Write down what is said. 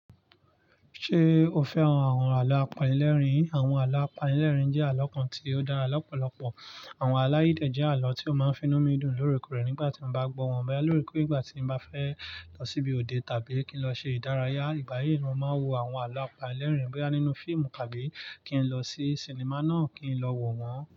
Ṣé o fẹ́ran àwọn àlọ́ apanilẹ́rìn? Àwọn àlọ́ apanilẹ́rìn jẹ́ àlọ́ kan tí ó dára lọ́pọ̀lọpọ̀. Àwọn àlọ́ de jẹ́ àlọ́ tí ó máa ń fi inú mi dùn lóorekòrè nígbà tí mo bá gbọ́ wọn. Mo máa ń lórúkọ ìgbà tí mo bá fẹ́ lọ síbi òde tàbí kí n lọ ṣe ìdárayá. Ìgbáyi ni mo máa ń wo àwọn àlọ́ apanilẹ́rìn. Bo ya nínú fíìmù tàbí kí n lọ sí sinimá náà kí n lọ wọ̀n wọ́n.